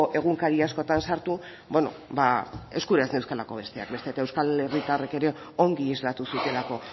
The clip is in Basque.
egunkari askotan sartu eskura ez neuzkalako besteak beste eta euskal herritarrek ere ongi islatu zutelako